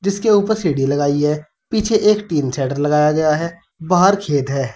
जिसके ऊपर सीधी लगाई है। पीछे एक टीन शटर लगाया गया है। बाहर खेत है।